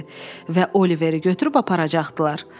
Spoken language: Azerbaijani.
Və Oliveri götürüb aparacaqdılar.